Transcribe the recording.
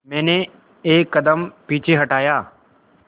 मैंने एक कदम पीछे हटाया